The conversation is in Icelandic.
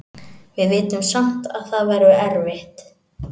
Við vitum samt að það verður erfitt.